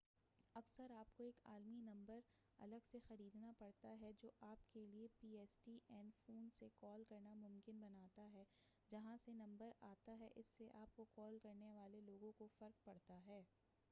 اکثر آپ کو ایک عالمی نمبر الگ سے خریدنا پڑتا ہے جو آپ کے لیے P S T N phone سے کال کرنا ممکن بناتا ہے جہاں سے نمبر آتا ہے اس سے آپ کو کال کرنے والے لوگوں کو فرق پڑتا ہے